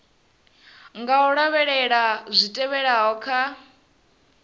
nga lavhelela zwi tevhelaho kha